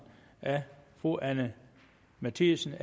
af fru anni matthiesen